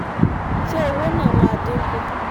ṣé owó náà máa dín kù?